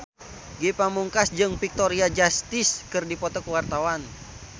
Ge Pamungkas jeung Victoria Justice keur dipoto ku wartawan